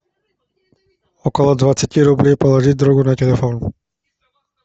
около двадцати рублей положить другу на телефон